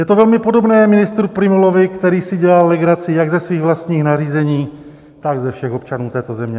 Je to velmi podobné ministru Prymulovi, který si dělal legraci jak ze svých vlastních nařízení, tak ze všech občanů této země.